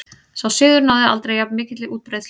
Sá siður náði þó aldrei jafn mikilli útbreiðslu.